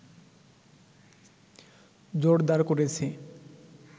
জোরদার করেছে